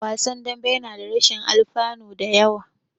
Wasan dambe yana da rashin alfanu da yawa.